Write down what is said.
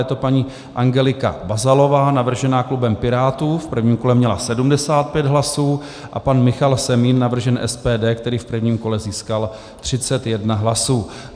Je to paní Angelika Bazalová navržená klubem Pirátů, v prvním kole měla 75 hlasů, a pan Michal Semín, navržen SPD, který v prvním kole získal 31 hlasů.